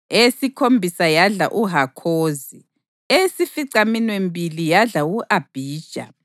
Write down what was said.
eyesikhombisa yadla uHakhozi, eyesificaminwembili yadla u-Abhija,